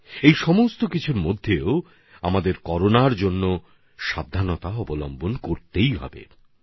এসব কাজের মাঝে আমাদের করোনা থেকে সতর্কতা কম করলে চলবে না